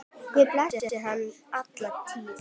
Guð blessi hann alla tíð.